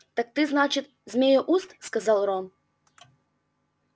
так ты значит змееуст сказал рон